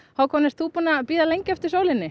Hákon ert þú búinn að bíða lengi eftir sólinni